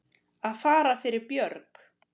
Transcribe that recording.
Að fara fyrir björg